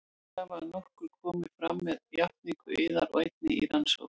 Þær hafa að nokkru komið fram með játningu yðar og einnig í rannsókn